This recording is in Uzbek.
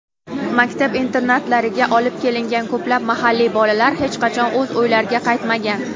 Maktab-internatlariga olib kelingan ko‘plab mahalliy bolalar hech qachon o‘z uylariga qaytmagan.